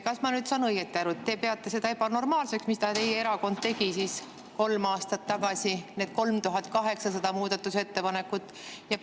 Kas ma nüüd saan õieti aru, et te peate seda ebanormaalseks, mida teie erakond tegi kolm aastat tagasi, need muudatusettepanekut?